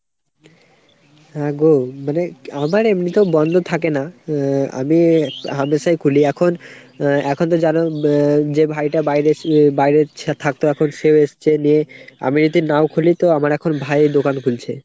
হ্যাঁ গো মানে আমার এমনিতেও বন্দ থাকে না আ আমি হামেশাই খুলি এখন। আ এখনতো জানো আ যে ভাইটা বাইরে বাইরে ছি থাকতো এখন সেও এসছে। নিয়ে আমি যদি নাও খুলি তো আমার ভাই এখন দোকান খুলছে।